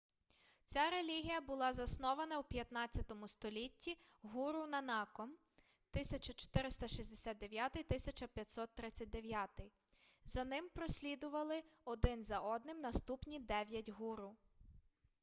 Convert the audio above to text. ця релігія була заснована у 15-му столітті гуру нанаком 1469–1539. за ним послідували один за одним наступні дев'ять гуру